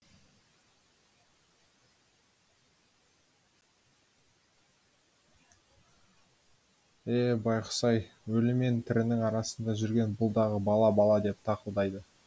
е байғұс ай өлі мен тірінің арасында жүрген бұл дағы бала бала деп тақылдайды